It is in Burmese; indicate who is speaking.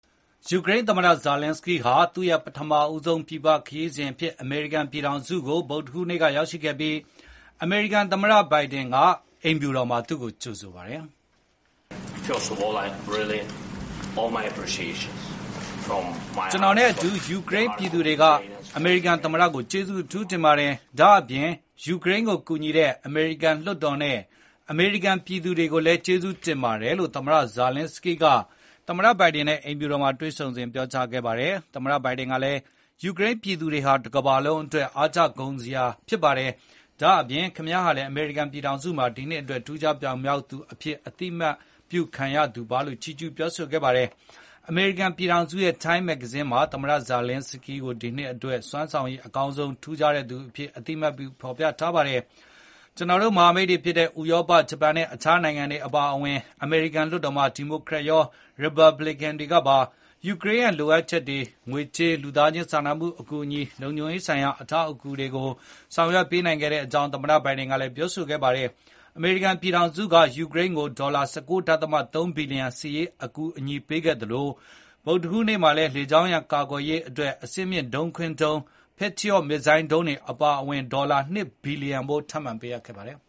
Speaker 1: ယူကရိန်းသမ္မတ Volodymyr Zelenskyy ဟာ သူ့ရဲ့ ပထမဆုံး ပြည်ပ ခရီးစဉ်အဖြစ် အမေရိကန် ပြည်ထောင်စုကို ဗုဒ္ဓဟူးနေ့က ရောက်ရှိလာခဲ့ပြီး အမေရိကန် သမ္မတ Joe Biden က အိမ်ဖြူတော်မှာ သူ့ကိုကြိုဆိုခဲ့ပါတယ်။
Speaker 2: “
Speaker 1: ကျနော်နဲ့အတူ ယူကရိန်းပြည်သူတွေက အမေရိကန် သမ္မတကို ကျေးဇူးအထူးတင်ပါတယ်။ ဒါ့အပြင် ယူကရိန်းကို ကူညီတဲ့ အမေရိကန်လွှတ်တော်နဲ့ အမေရိကန်ပြည်သူတွေကိုလည်း ကျေးဇူးတင်ပါတယ်လို့ သမ္မတ Zelenskyy က သမ္မတ Biden နဲ့ အိမ်ဖြူတော်မှာ တွေ့ဆုံစဉ် ပြောကြားခဲ့ပါတယ်။ သမ္မတ Biden ကလည်း ယူကရိန်းပြည်သူတွေဟာ တကမ ္ဘာလုံးအတွက် အားကျဂုဏ်ယူစရာဖြစ်ပါတယ်။ ဒါ့အပြင် ခင်ဗျားဟာလည်း အမေရိကန်ပြည်ထောင်စုမှာ ဒီနှစ်အတွက် ထူးခြား ပြောင်မြောက်သူ အဖြစ် အသိအမှတ်ပြု ခံရသူပါလို့ ချီးကျူးပြောဆိုခဲ့ပါတယ်။ အမေရိကန်ပြည်ထောင်စုရဲ့ Time မဂ္ဂဇင်းမှာ သမ္မတ Zelenskyy ကို ဒီနှစ်အတွက် စွမ်းဆောင်ရည် အကောင်းဆုံး ထူးခြားတဲ့သူ အဖြစ် အသိအမှတ်ပြု ဖေါ်ပြထားပါတယ်။ ကျနော်တို့ မဟာမိတ်တွေဖြစ်တဲ့ ဥရောပ၊ ဂျပန်နဲ့ အခြားနိုင်ငံတွေ အပါအဝင် အမေရိကန် လွှတ်တော်မှာ ဒီမိုကရက်ရော၊ ရီပတ်ဘလစ်ကန်တွေကပါ ယူကရိန်းရဲ့ လိုအပ်ချက်တွေ အတွက် ငွေကြေး၊ လူသားခြင်း စာနာမှု အကူအညီ၊ လုံခြုံရေး ဆိုင် ရာ အကူအညီ အထောက်အပံ့တွေကို ဆောင်ရွက်ပေးနိုင်ခဲ့ကြောင်း သမ္မတ Biden က ပြောဆိုခဲ့ပါတယ်။ အမေရိကန် ပြည်ထောင်စုက ယူကရိန်းကို ဒေါ်လာ ၁၉ ဒသမ ၃ ဘီလျံ စစ်ရေးအကူအညီပေးခဲ့သလို ဒီ ဗုဒ္ဓဟူး နေ့မှာလည်း လေကြောင်းရန် ကာကွယ်ရေးအတွက် အဆင့်မြင့် ဒုံးခွင်းဒုံး Patriot missile ဒုံးတွေ အပါအဝင် ဒေါ်လာ ၂ ဘီလျံဖိုး ထပ်မံပေးခဲ့ပါတယ်